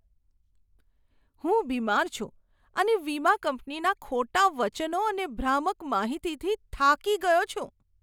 હું બીમાર છું અને વીમા કંપનીના ખોટા વચનો અને ભ્રામક માહિતીથી થાકી ગયો છું.